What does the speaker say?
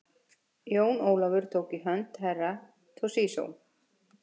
Jón Ólafur tók í hönd Herra Toshizo.